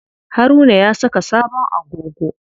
Haruna ya saka sabon agogo.